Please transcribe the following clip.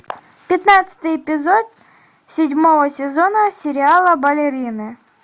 пятнадцатый эпизод седьмого сезона сериала балерины